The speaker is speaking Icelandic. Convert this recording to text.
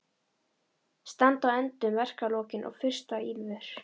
Standa á endum verkalokin og fyrsta ýlfur